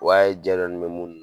O y'a ye jɛ dɔɔnin mɛ munnu na